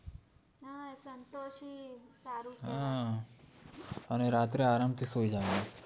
હા અને રાત્રે આરામ થી સુઈ જવાનું